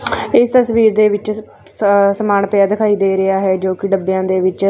ਇਸ ਤਸਵੀਰ ਦੇ ਵਿੱਚ ਸਮਾਨ ਪਿਆ ਦਿਖਾਈ ਦੇ ਰਿਹਾ ਜੋ ਕਿ ਡੱਬਿਆਂ ਦੇ ਵਿੱਚ --